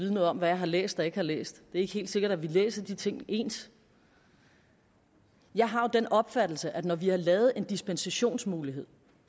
vide noget om hvad jeg har læst og ikke har læst er ikke helt sikkert at vi læser de ting ens jeg har jo den opfattelse at når vi har lavet en dispensationsmulighed